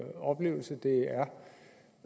oplevelse